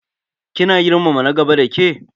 Kina girmama na gaba dake?